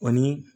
O ni